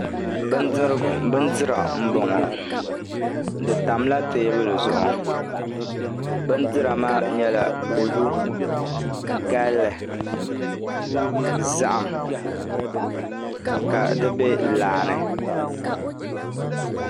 Bindirigu n boŋ di tamla teebuli zuɣu bindira maa nyɛla kodu galli zaham ka di bɛ laa ni